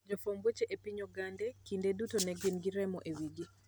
Jofwamb weche e piny Ogande, kinde duto ne gin gi remo e wigi.